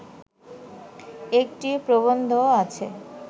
একটি প্রবন্ধও আছে